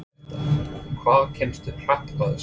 Birta: Hvað kemstu hratt á þessu?